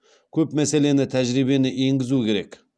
көп мәселені тәжірибені енгізу керек